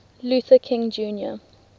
luther king jr